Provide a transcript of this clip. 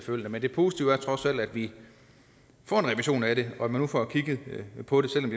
men det positive er trods alt at vi får en revision af det og at man nu får kigget på det selv